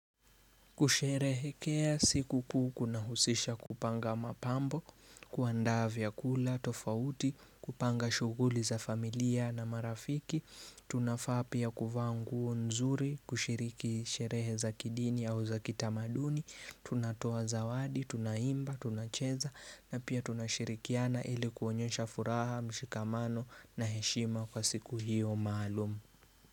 Kusherehekea sikukuu kunahusisha kupanga mapambo, kuandaa vyakula, tofauti, kupanga shughuli za familia na marafiki, tunafaa pia kuvaa nguo nzuri, kushiriki sherehe za kidini au za kitamaduni, tunatoa zawadi, tunaimba, tunacheza na pia tunashirikiana ili kuonyesha furaha, mshikamano na heshima kwa siku hiyo maalumu.